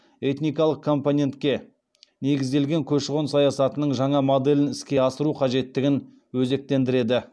этникалық компонентке негізделген көші қон саясатының жаңа моделін іске асыру қажеттігін өзектендіреді